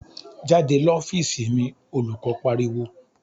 "Jáde l'ofiisi mi!" Olùkọ́ pariwo.